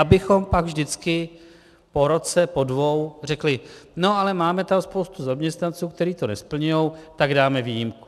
Abychom pak vždycky po roce, po dvou řekli: No ale máme tam spoustu zaměstnanců, kteří to nesplňují, tak dáme výjimku.